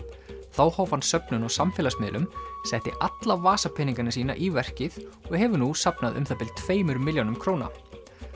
þá hóf hann söfnun á samfélagsmiðlum setti alla vasapeningana sína í verkið og hefur nú safnað um það bil tveimur milljónum króna